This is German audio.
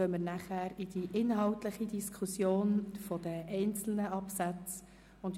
Danach gehen wir zur inhaltlichen Diskussion über die einzelnen Absätze über.